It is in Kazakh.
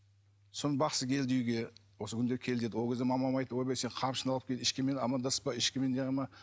соны бақсы келді үйге осы күнде кел деді ол кезде мамам айтты ойбай сен қамшыны алып кел ешкіммен амандаспа ешкіммен не қылма